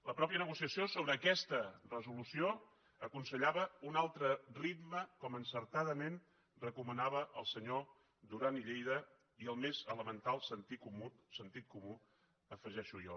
la mateixa negociació sobre aquesta resolució aconsellava un altre ritme com encertadament recomanaven el senyor duran i lleida i el més elemental sentit comú ho afegeixo jo